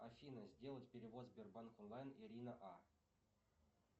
афина сделать перевод сбербанк онлайн ирина а